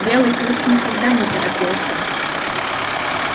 белый клык никогда не торопился